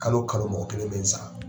Kalo kalo mɔgɔ kelen bɛ in san.